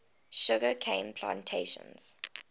sugar cane plantations